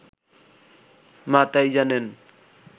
মা তাই জানেন